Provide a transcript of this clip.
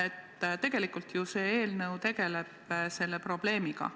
Aga tegelikult see eelnõu ju tegelebki selle probleemiga.